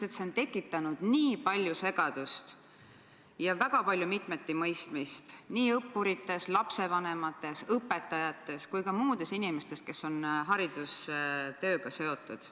Sest see on tekitanud nii palju segadust ja väga palju mitmetimõistmist nii õppurites, lapsevanemates, õpetajates kui ka muudes inimestes, kes on haridustööga seotud.